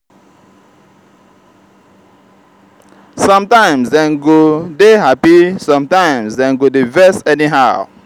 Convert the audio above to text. sometimes dem go dey hapi sometimes dem go dey vex anyhow.